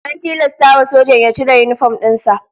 An tilasta wa sojan ya cire yinifom din sa